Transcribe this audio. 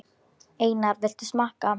Einar, viltu smakka?